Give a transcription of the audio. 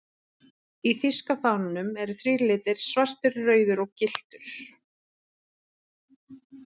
Í þýska fánanum eru þrír litir, svartur, rauður og gylltur.